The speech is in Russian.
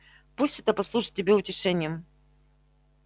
пусть это послужит тебе утешением